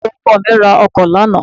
baba oko mi ro ọkọ lana